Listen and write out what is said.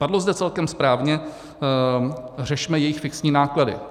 Padlo zde celkem správně: řešme jejich fixní náklady.